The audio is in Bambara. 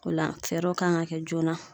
O la fɛɛrɛw kan ga kɛ joona